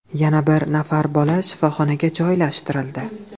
Yana bir nafar bola shifoxonaga joylashtirildi.